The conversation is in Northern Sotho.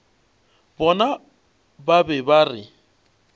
bona ba be ba re